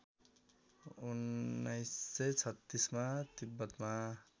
१९३६ मा तिब्बतमा